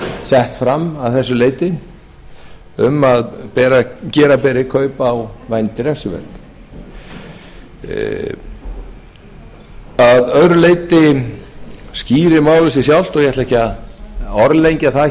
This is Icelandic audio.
sett fram að þessu leyti um að gera beri kaup á vændi refsiverð að öðru leyti skýrir málið sig sjálft og ég ætla ekki að orðlengja það